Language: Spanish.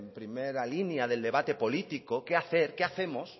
primera línea del debate político qué hacemos